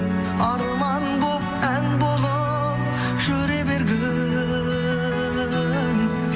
арман болып ән болып жүре бергін